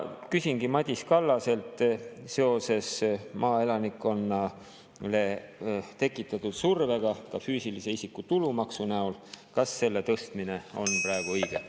Küsingi Madis Kallaselt seoses maaelanikkonnale tekitatud survega ka füüsilise isiku tulumaksu näol: kas selle tõstmine on praegu õige?